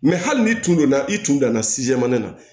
hali n'i tun donna i tun danna na